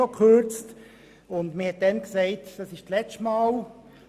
Man kürzte bereits damals und sagte, es sei das letzte Mal.